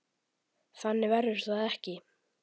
Þannig verður það ekki.